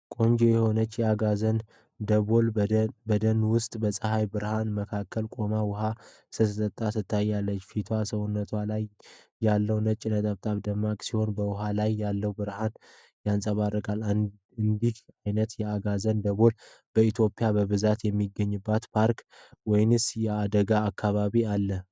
ቆንጆ የሆነች የአጋዘን ደቦል በደን ውስጥ በፀሐይ ብርሃን መካከል ቆማ ውሃ ስትጠጣ ትታያለች። ፊቷና ሰውነቷ ላይ ያሉት ነጭ ነጠብጣቦች ደማቅ ሲሆኑ፣ ውሃው ላይ ያለው ብርሃን ያብረቀርቃል። እንዲህ ዓይነቱ የአጋዘን ደቦል በኢትዮጵያ በብዛት የሚገኝበት የፓርክ ወይስ የአደን አካባቢ አለ?